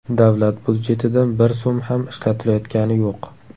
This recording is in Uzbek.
Davlat budjetidan bir so‘m ham ishlatilayotgani yo‘q.